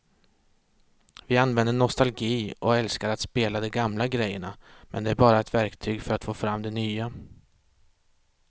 Vi använder nostalgi och älskar att spela de gamla grejerna men det är bara ett verktyg för att få fram det nya.